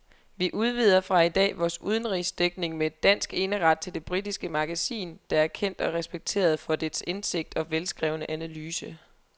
Vi udvider fra i dag vores udenrigsdækning med dansk eneret til det britiske magasin, der er kendt og respekteret for dets indsigt og velskrevne analyse.